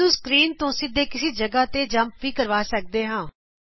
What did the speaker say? ਇਸ ਨੂੰ ਸਕਰੀਨ ਤੇ ਸਿੱਧੇ ਕਿਸੀ ਜਗ੍ਹਾ ਤੋ ਜਮਪ ਵੀ ਕਰਵਾ ਸਕਦੇ ਹਾਂ